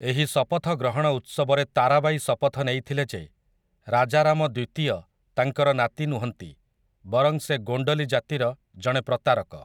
ଏହି ଶପଥ ଗ୍ରହଣ ଉତ୍ସବରେ ତାରାବାଈ ଶପଥ ନେଇଥିଲେ ଯେ ରାଜାରାମ ଦ୍ୱିତୀୟ ତାଙ୍କର ନାତି ନୁହନ୍ତି, ବରଂ ସେ ଗୋଣ୍ଡଲୀ ଜାତିର ଜଣେ ପ୍ରତାରକ ।